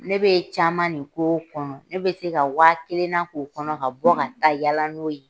Ne bɛ caman nin k'o kɔnɔ , ne bɛ se ka waa kelen na k'o kɔnɔ ka bɔ ka taa yaala n'o ye.